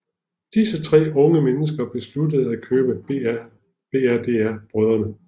Disse tre dygtige unge mennesker besluttede at købe Brdr